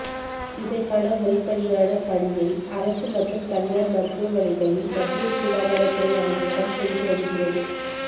இதற்கான முறைப்படி யான பணியை அரசு மற்றும் தனியார் மருத்துவமனைகளில் மத்திய சுகாதாரத்துறை அமைச்சகம் செய்து வருகிறது